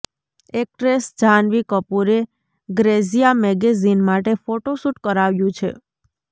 actress Janhvi કપૂરે Grazia magazine માટે photoshoot કરાવ્યું છે